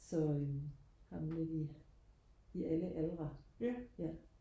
så øhm har dem lidt i alle aldre ja